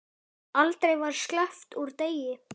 Aldrei var sleppt úr degi.